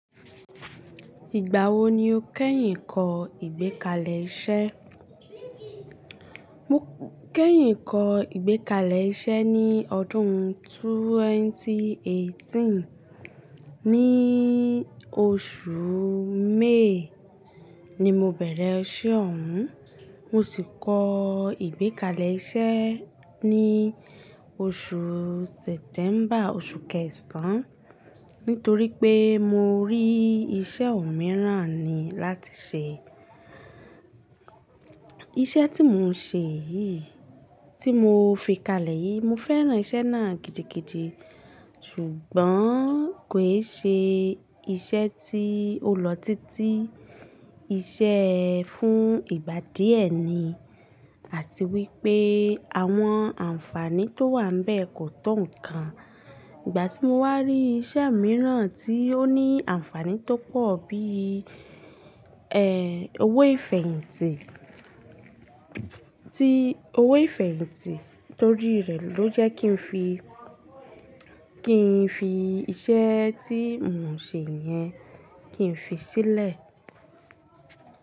Ìgbà wo ni o kẹ́yìn kọ ìgbékalẹ̀ iṣẹ́? Mo kẹ́yìn kọ ìgbékalẹ̀ iṣẹ́ ní ọdún ẹgbẹ̀rún méjì ó lé méjìdínlógún. Ni oṣù May ni mo bẹ̀rẹ̀ iṣẹ́ ọ̀ hún, mo sì kọ ìgbékalẹ̀ iṣẹ́ ní oṣù September, oṣù kẹsàn-án, nítorí pé mo rí iṣẹ́ òmíràn ni láti ṣe. Iṣẹ́ tí mo ń ṣe yìí, tí mo fi kalẹ̀ yìí, mo fẹ́ràn iṣẹ́ náà gidigidi ṣùgbọ́n kò í ṣe iṣẹ́ tí ó lọ títí. Iṣẹ́ ẹ fún ìgbà díẹ̀ ni àti wípé àwọn ànfàní tó wà níbẹ̀ kò tó nǹkan. Ìgbà tí mo wá rí iṣẹ́ mìíràn tí ó ní ànfàní tó pọ̀ bí i, ẹ, owó ìfẹ̀yìntì, tí owó ìfẹ̀yìntì torí rẹ̀ ló jẹ́ kí n fi, kí n fi iṣẹ́ tí mo ń ṣe yẹn, kí n fi sílẹ̀.